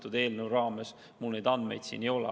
Selle eelnõuga seotult mul neid andmeid siin ei ole.